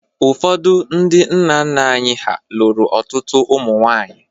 Ụfọdụ ndị nna nna anyị ha lụrụ ọtụtụ ụmụ nwaanyị